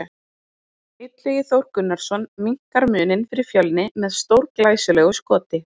Illugi Þór Gunnarsson minnkar muninn fyrir Fjölni með stórglæsilegu skoti!